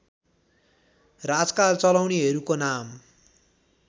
राजकाज चलाउनेहरूको नाम